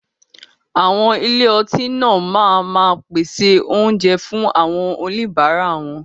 Àwọn ilé ọtí náà máa ma pèsè oúnjẹ fún àwọn oníbàárà wọn.